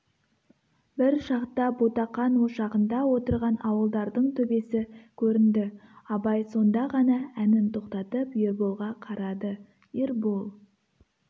бір шақта ботақан ошағында отырған ауылдардың төбесі көрінді абай сонда ғана әнін тоқтатып ерболға қарады ербол